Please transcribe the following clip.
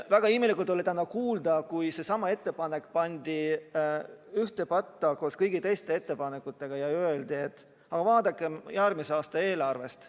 Väga imelik oli täna kuulda, kui seesama ettepanek pandi ühte patta koos kõigi teiste ettepanekutega ja öeldi, et aga vaadakem järgmise aasta eelarvet.